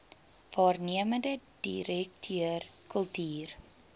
waarnemende direkteur kultuur